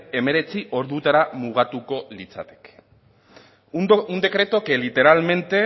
hemeretzi ordutara mugatuko litzateke un decreto que literalmente